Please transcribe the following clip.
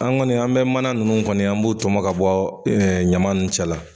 An kɔni an be mana nunnu kɔni an b'o tɔmɔ ka bɔ ɛɛ ɲama nunnu cɛla